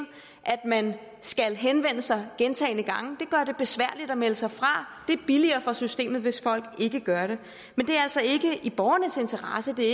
at man skal henvende sig gentagne gange det gør det besværligt at melde sig fra det er billigere for systemet hvis folk ikke gør det men det er altså ikke i borgernes interesse det